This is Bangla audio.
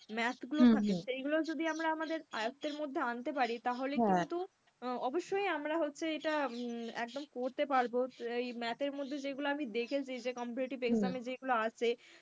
math গুলো থাকে সেই গুলো যদি আমরা আমাদের আয়ত্তের মধ্যে আনতে পারি, তাহলে কিন্তু অবশ্যই আমরা হচ্ছে এটা উম একদম করতে পারবো। এই math এর মধ্যে যেগুলো আমি দেখেছি যে competitive exam এ যেগুলো আসে,